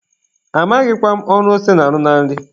Amaghịkwa m ọrụ ose na-arụ na nri.